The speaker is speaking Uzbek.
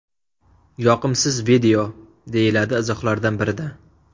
Yoqimsiz video”, deyiladi izohlardan birida.